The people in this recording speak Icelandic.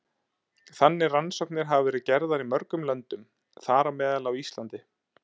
Þannig rannsóknir hafa verið gerðar í mörgum löndum, þar á meðal á Íslandi.